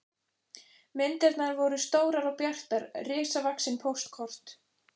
Myndirnar voru stórar og bjartar, risavaxin póstkort.